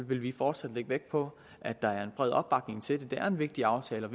vi fortsat lægge vægt på at der er en bred opbakning til den det er en vigtig aftale og